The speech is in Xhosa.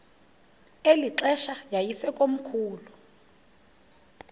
eli xesha yayisekomkhulu